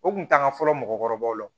O kun t'an ka fɔlɔ mɔgɔkɔrɔbaw la